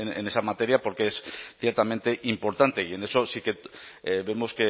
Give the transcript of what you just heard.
en esta materia porque es ciertamente importante y en eso sí que vemos